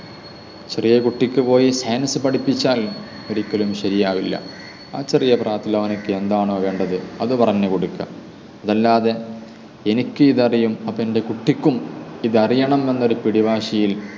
ചെറിയൊരു കുട്ടിക്ക് പോയി science പഠിപ്പിച്ചാൽ ഒരിക്കലും ശരിയാവില്ല. ആ ചെറിയ പ്രായത്തിൽ അവർക്ക് എന്താണോ വേണ്ടത് അത് പറഞ്ഞു കൊടുക്കുക. അതല്ലാതെ എനിക്ക് ഇത് അറിയും, അതെൻ്റെ എൻ്റെ കുട്ടിക്കും ഇത് അറിയണം എന്നൊരു പിടിവാശിയിൽ